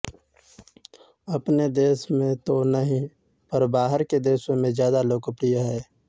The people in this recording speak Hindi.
अपने देश में तो नहीं पर बाहर के देशों में ज्यादा लोकप्रिय है